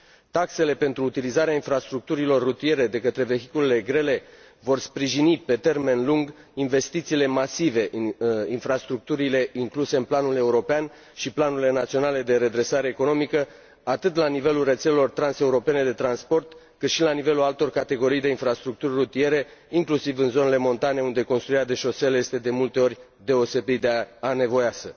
Taxele pentru utilizarea infrastructurilor rutiere de către vehiculele grele vor sprijini pe termen lung investițiile masive în infrastructurile incluse în planul european și planurile naționale de redresare economică, atât la nivelul rețelelor transeuropene de transport, cât și la nivelul altor categorii de infrastructuri rutiere, inclusiv în zonele montane, unde construirea de șosele este, de multe ori, deosebit de anevoioasă.